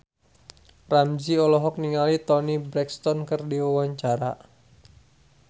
Ramzy olohok ningali Toni Brexton keur diwawancara